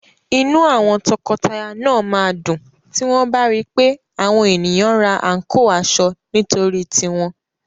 Inú àwọn tọkọtaya náà máa dùn tí wọ́n bá ri pé àwọn ènìyàn ra àǹkóò aṣọ nítorí tiwọn.